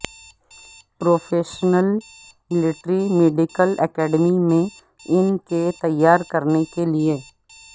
professionals military medical academy میں ان کے تیار کرنے کے لئے